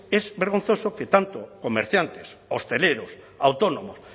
es vergonzoso que tanto comerciantes hosteleros autónomos